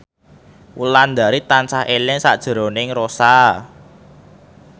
Wulandari tansah eling sakjroning Rossa